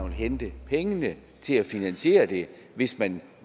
hente pengene til at finansiere det hvis man